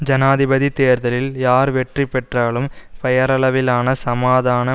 ஜனாதிபதி தேர்தலில் யார் வெற்றிபெற்றாலும் பெயரளவிலான சமாதான